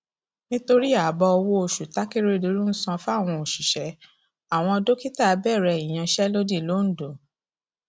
nítorí ààbò owóoṣù takérédọlù ń san fáwọn òṣìṣẹ àwọn dókítà bẹrẹ ìyansẹlódì lońdó